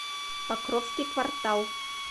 покровский квартал